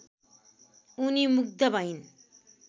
उनी मुग्ध भइन्